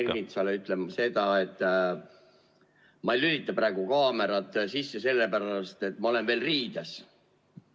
Peeter Ernitsale ütlen ma seda, et ma ei lülita praegu kaamerat sisse sellepärast, et ma olen veel riides.